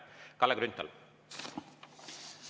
Kalle Grünthal, palun!